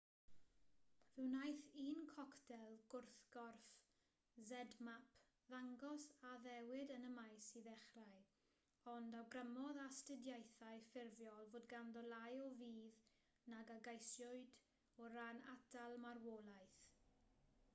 fe wnaeth un coctel gwrthgorff zmapp ddangos addewid yn y maes i ddechrau ond awgrymodd astudiaethau ffurfiol fod ganddo lai o fudd nag a geisiwyd o ran atal marwolaeth